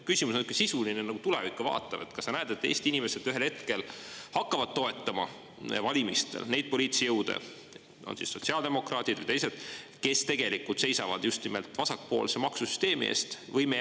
Küsimus on ikka sisuline ja nagu tulevikku vaatav: kas sa näed, et Eesti inimesed ühel hetkel hakkavad toetama valimistel neid poliitilisi jõude – on siis sotsiaaldemokraadid ja teised –, kes tegelikult seisavad just nimelt vasakpoolse maksusüsteemi eest?